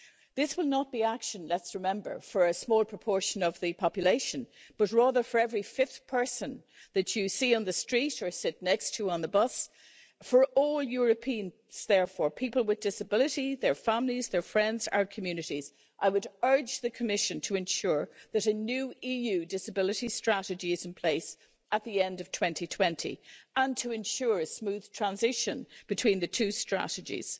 This will not be action, let's remember, for a small proportion of the population, but rather for every fifth person that you see on the street or sit next to on the bus, for all Europeans therefore people with disabilities, their families, their friends, our communities I would urge the Commission to ensure that a new EU disability strategy is in place at the end of 2020 and to ensure a smooth transition between the two strategies.